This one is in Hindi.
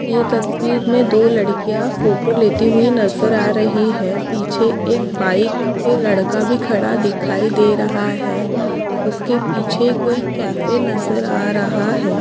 ये तस्वीर मे दो लड्कीया फोटो लेती हुई नज़र आ रही है पीछे एक बाइक पे एक लड्का भी खड़ा दिखाई दे रहा है उसके पीछे कोई कैफ़े नज़र आ रहे है।